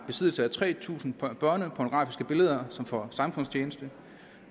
i besiddelse af tre tusind børnepornografiske billeder og som får samfundstjeneste